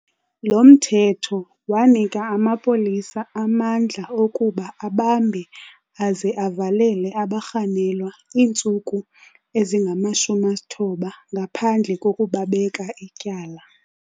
Lo mthetho wanika amapolisa amandla okuba abambe aze avalele abarhanelwa iintsuku ezingama-90 ngaphandle kokubabeka ityala.